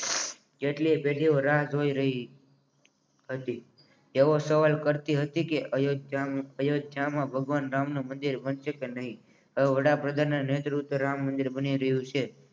એટલે જગ્યા રાહ જોઈ રહી તેવો સવાલ કરતી હતી કે અયોધ્યામાં ભગવાન રામનું મંદિર બનશે કે નહીં તો વડાપ્રધાનના નેતૃત્વ હે રામ મંદિર બની રહ્યું છે